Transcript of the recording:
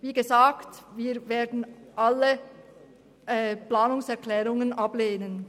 Wie gesagt, wir werden beide Planungserklärungen ablehnen.